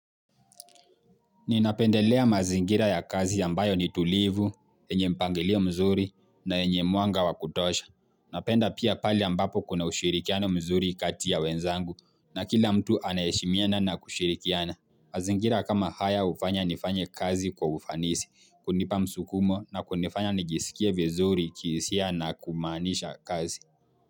Ninapendelea mazingira ya kazi ambayo ni tulivu, yenye mpangilio mzuri na yenye mwanga wa kutosha. Napenda pia pahali ambapo kuna ushirikiano mzuri kati ya wenzangu na kila mtu anaheshimiana na kushirikiana. Mazingira kama haya hufanya nifanye kazi kwa ufanisi, hunipa msukumo na kunifanya nijisikie vizuri kihisia na kumaanisha kazi.